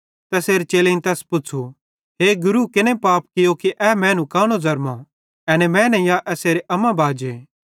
तैसेरे चेलेईं तैस पुच़्छ़ू हे गुरू केने पाप कियो कि ए कानो ज़रमो एने मैने या एसेरे अम्मा बाजे